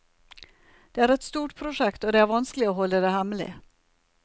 Det er et stort prosjekt, og det er vanskelig å holde det hemmelig.